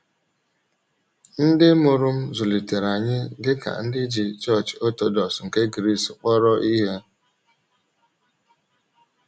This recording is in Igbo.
Ndị mụrụ m zụlitere anyị dị ka ndị ji Chọọchị Ọtọdọks nke Gris kpọrọ ihe.